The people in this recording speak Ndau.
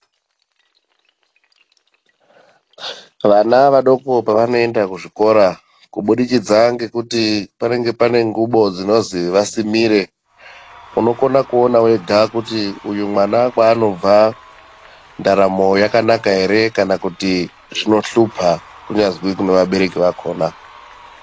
Vana vadoko pavano enda ku zvikora kubudikidza ngekuti panenge pane ngubo dzinozi vasimire unokona kuona wega kuti uyu mwana kwa anobva ndaramo yakanaka ere kana kuti zvino hlupa kunyazwi kune vabereki vakona.